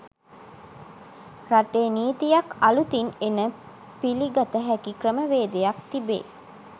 රටේ නිතීයක් අළුතින් එන පිළිගත හැකි ක්‍රමවේදයක් තිබේ.